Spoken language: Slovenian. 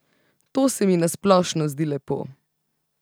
To se mi na splošno zdi lepo.